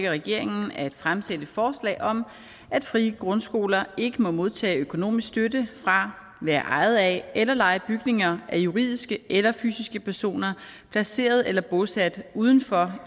regeringen at fremsætte forslag om at frie grundskoler ikke må modtage økonomisk støtte fra være ejet af eller leje bygninger af juridiske eller fysiske personer placeret eller bosat uden for